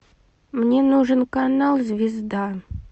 мне нужен канал звезда